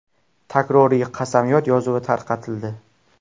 Takroriy qasamyod yozuvi tarqatildi.